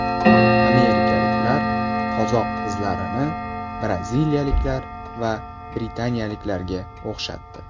Amerikaliklar qozoq qizlarini braziliyalik va britaniyaliklarga o‘xshatdi .